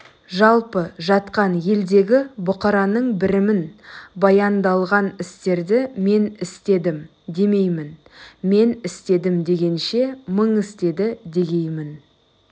жалпы жатқан елдегі бұқараның бірімін баяндалған істерді мен істедім демеймін мен істедім дегенше мың істеді дегеймін